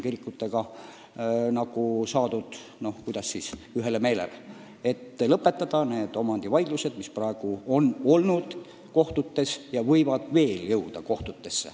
Kirikutega on saadud ühele meelele, et lõpetame need omandivaidlused, mis praegugi on kohtutes ja võivad sinna veel jõuda.